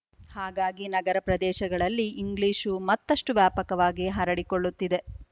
ಹಾಗಾಗಿ ನಗರ ಪ್ರದೇಶಗಳಲ್ಲಿ ಇಂಗ್ಲೀಷು ಮತ್ತಷ್ಟು ವ್ಯಾಪಕವಾಗಿ ಹರಡಿಕೊಳ್ಳುತ್ತಿದೆ